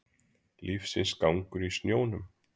Lífsins gangur í snjónum